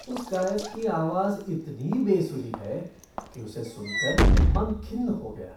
उस गायक की आवाज़ इतनी बेसुरी है कि उसे सुन कर मन खिन्न हो गया।